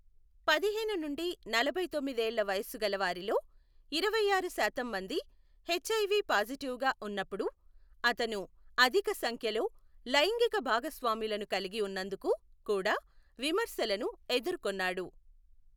పదిహేను నుండి నలభైతొమ్మిది ఏళ్ల వయస్సు గల వారిలో ఇరవైఆరు శాతం మంది హెచ్ఐవి పాజిటివ్గా ఉన్నప్పుడు, అతను అధిక సంఖ్యలో లైంగిక భాగస్వాములను కలిగి ఉన్నందుకు కూడా విమర్శలను ఎదుర్కొన్నాడు.